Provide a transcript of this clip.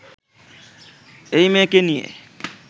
এই মেয়েকে নিয়ে